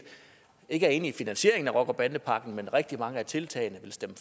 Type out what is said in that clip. ikke er enig i finansieringen af rocker bande pakken vil rigtig mange af tiltagene